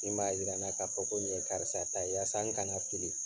Min b'a yira na k'a fɔ ko ni ye karisa ta ye yasan n kana fili